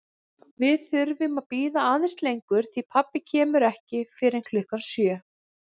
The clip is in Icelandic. Við þurfum að bíða aðeins lengur því pabbi kemur ekki fyrr en klukkan sjö